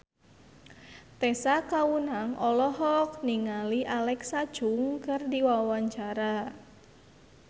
Tessa Kaunang olohok ningali Alexa Chung keur diwawancara